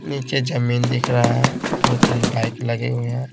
नीचे जमीन दिख रहा है दो-तीन बाइक लगे हुए हैं।